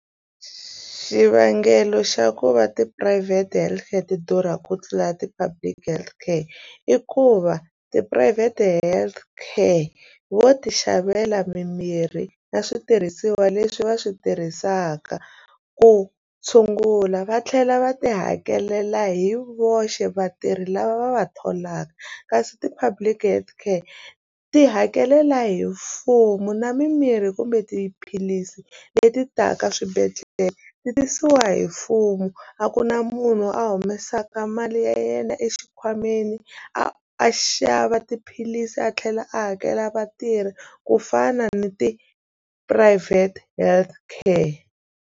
Xivangelo xa ku va tiphurayivhete health care ti durha ku tlula ti-public health care i ku va tiphurayivhete health ka vo ti xavela mimirhi na switirhisiwa leswi va swi tirhisaka ku tshungula va tlhela va ti hakelela hi voxe vatirhi lava va va tholaka kasi ti-public health ka ti hakelela hi mfumo na mimirhi kumbe tiphilisi leti taka swibedhlele ku tirhisiwa hi mfumo a ku na munhu a humesaka mali ya yena exikhwameni a a xava tiphilisi a tlhela a hakela vatirhi ku fana ni ti ti-private health care.